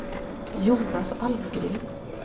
Jonas Almgren